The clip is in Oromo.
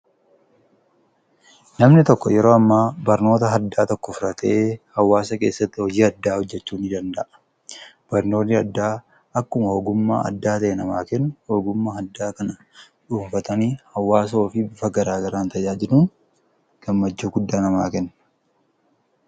Namni tokko yeroo amma barnoota addaa tokko fudhatee hawaasa keessatti hojii addaa hojjechuu ni danda'a. Barnoonni addaa akkuma ogummaa addaa yoo ta'u namni ogummaa addaa kana dhuunfatanii hawaasa ofii bifa garaa garaan fayyaduun gammachuu guddaa namaa kenna.